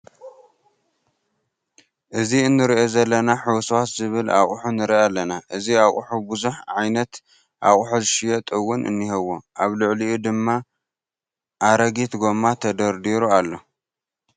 እዚ እንሪኦ ዘለና ሕውስውስ ዝበለ ኣቁሑ ንርኢ ኣለና። እዚ ኣቁሑ ቡዙሕ ዓይነት ኣቁሑ ዝሽየጥ እውን እንሄዎ። ኣብ ላዕሊኡ ድማ ሓረጊት ጎማ ተደርዲሩ ኣሎ።